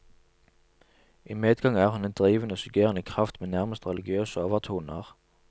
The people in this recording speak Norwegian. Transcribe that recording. I medgang er hun en drivende, suggererende kraft med nærmest religiøse overtoner.